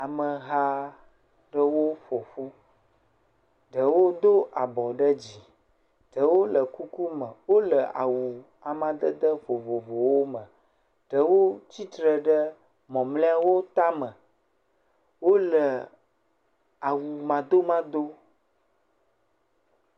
Ameha ɖewo ƒoƒu, ɖewo do abɔ ɖe dzi, ɖewo le kuku me, wole awu amadede vovovowo me, ɖewo tsitre ɖe mɔmlɔeawo tame, wole awu mado mado.